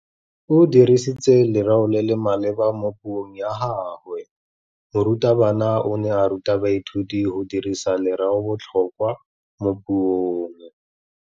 O dirisitse lerêo le le maleba mo puông ya gagwe. Morutabana o ne a ruta baithuti go dirisa lêrêôbotlhôkwa mo puong.